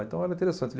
Então era interessante.